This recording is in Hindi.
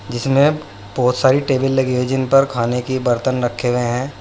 जिसमें बहोत सारी टेबल लगी है जिन पर खाने की बर्तन रखे हुए हैं।